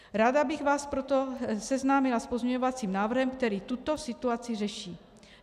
Ráda bych vás proto seznámila s pozměňovacím návrhem, který tuto situaci řeší.